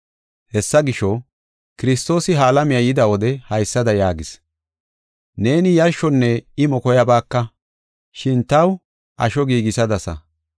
Hessa gisho, Kiristoosi ha alamiya yida wode haysada yaagis: “Neeni yarshonne imo koyabaaka; shin taw asho giigisadasa.